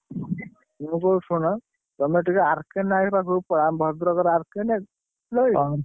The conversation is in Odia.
ମୁଁ କହୁଚି ଶୁଣ, ତମେ ଟିକେ ଆର୍‌କେ ନାୟକ ଅଛନ୍ତି, ପାଖକୁ ପଳାଅ, ଆମ ଭଦ୍ରକର ଆର୍‌କେ ନାୟକ।